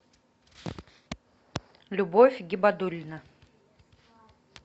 любовь гибадулина